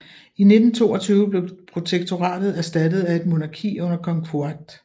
I 1922 blev protektoratet erstattet af et monarki under kong Fuad